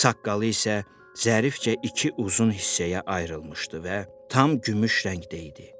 Saqqalı isə zərifcə iki uzun hissəyə ayrılmışdı və tam gümüş rəngdə idi.